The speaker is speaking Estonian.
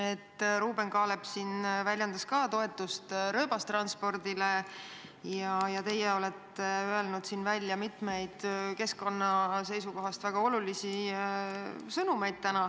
Ka Ruuben Kaalep väljendas toetust rööbastranspordile ja teie olete siin täna välja öelnud mitmeid keskkonna seisukohast väga olulisi sõnumeid.